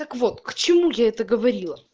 так вот к чему я это говорила